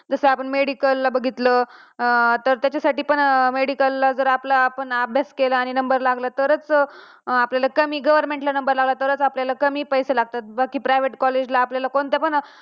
जस आपण medical ला बघितलं तर त्याच्या साठी पण medical ला जर आपले अभ्यास केला आणि number लागला तरच आपल्याला कमी government ला number लागला तरच आपल्याला कमी पैसे लागतात बाकी आपल्या private college ला